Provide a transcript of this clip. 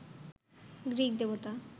Greek দেবতা